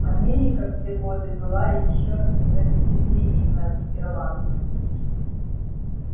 америка в те годы была ещё гостеприимна к ирландцам